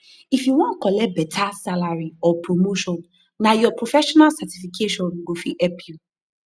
if u wan collect beta salary or promotion nah ur professional certification go fit help u